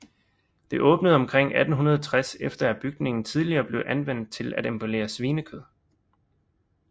Det åbnde omkring 1860 efter at bygningen tidligere blevet anvendt til at emballere svinekød